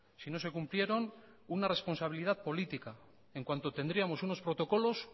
si no se cumplieron una responsabilidad política en cuanto tendríamos unos protocolos